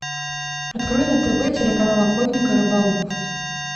открой на тв телеканал охотник и рыболов